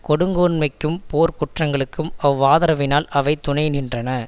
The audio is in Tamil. கொடுங்கோன்மைக்கும் போர்க் குற்றங்களுக்கும் அவ்வாதரவினால் அவை துணை நின்றன